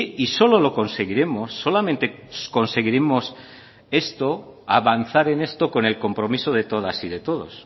y solo lo conseguiremos solamente conseguiremos esto avanzar en esto con el compromiso de todas y de todos